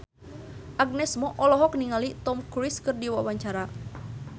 Agnes Mo olohok ningali Tom Cruise keur diwawancara